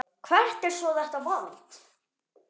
Hvert er svo þetta vald?